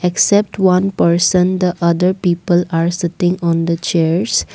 except one person the other people are sitting on the chairs.